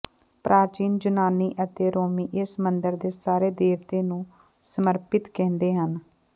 ਪ੍ਰਾਚੀਨ ਯੂਨਾਨੀ ਅਤੇ ਰੋਮੀ ਇਸ ਮੰਦਰ ਦੇ ਸਾਰੇ ਦੇਵਤੇ ਨੂੰ ਸਮਰਪਿਤ ਕਹਿੰਦੇ ਹਨ